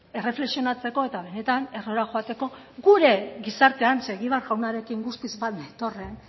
erreflexionatzeko eta benetan errora joateko gure gizartean ze egibar jaunarekin guztiz bat netorren